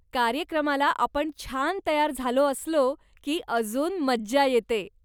कार्यक्रमाला आपण छान तयार झालो असलो की अजून मज्जा येते.